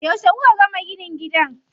Yauce kuka gama ginin gidan?